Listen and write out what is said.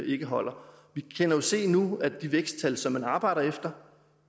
ikke holder vi kan jo se nu at de væksttal som man arbejder efter